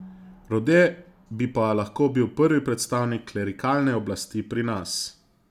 Rode bi pa lahko bil prvi predstavnik klerikalne oblasti pri nas.